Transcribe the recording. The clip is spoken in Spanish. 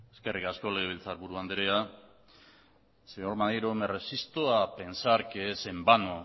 eskerrik asko legebiltzarburu andrea señor maneiro me resisto a pensar que es en vano